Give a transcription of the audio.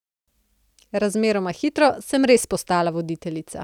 Razmeroma hitro sem res postala voditeljica.